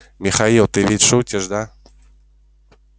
михаил ты ведь шутишь да